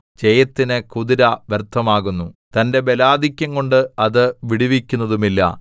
ജയത്തിന് കുതിര വ്യർത്ഥമാകുന്നു തന്റെ ബലാധിക്യം കൊണ്ട് അത് വിടുവിക്കുന്നതുമില്ല